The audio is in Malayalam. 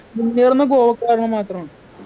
മുന്നേറുന്നെ ഗോവക്ക കാരണം മാത്രമാണ്